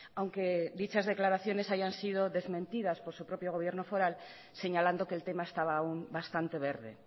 aunque dichas declaraciones hayan sido desmentidas por su propio gobierno foral señalando que el tema estaba aún bastante verde